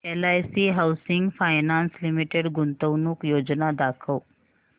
LIC housing finance limited गुंतवणूक योजना दाखव